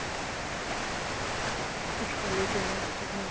কি solid energy ভাই!